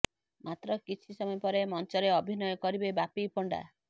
ମାତ୍ର କିଛି ସମୟ ପରେ ମଞ୍ଚରେ ଅଭିନୟ କରିବେ ବାପି ପଣ୍ଡା